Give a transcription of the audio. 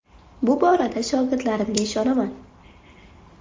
Bu borada shogirdlarimga ishonaman.